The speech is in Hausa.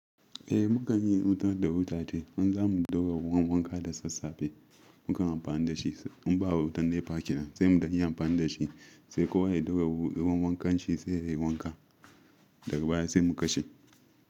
Eh mu kan yi wuta da wuta ce, an zamu doga wani wanka da sassafe, mu ka amfanar da shi. In ba wa wutan nefa kira sai mu danya amfanar da shi sai kowa ya doga wankan shi sai yayi wanka daga baya sai mu kashe.